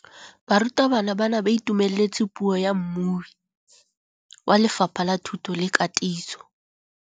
Barutabana ba ne ba itumeletse puô ya mmui wa Lefapha la Thuto le Katiso.